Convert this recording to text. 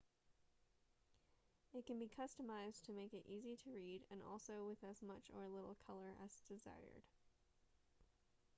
it can be customized to make it easy to read and also with as much or little color as desired